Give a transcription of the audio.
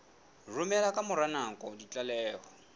romela ka mora nako ditlaleho